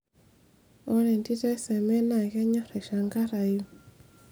wore entito eseme naa kenyor aishangarayu